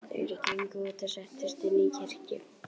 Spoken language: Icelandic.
Þeir gengu út og settust inn í kirkju.